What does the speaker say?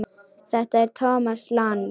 Þetta er Thomas Lang.